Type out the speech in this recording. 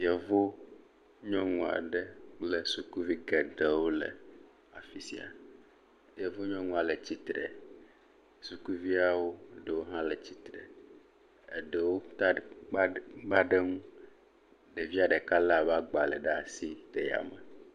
Yevu nyɔnu aɖe le fisi sukuvi geɖewo le, le afi sia. Yevu nyɔnua le tsitre, suuvia ɖewo hã le tsitre. Eɖewo kpa, kpa ɖe eŋu, ɖevia ɖeka le eƒe agba ɖe asi.